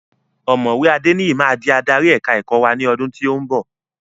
Ọ̀mọ̀wé Adeniyi máa di adarí èka-ẹ̀kọ́ wá ní ọdún tí ó ń bọ̀.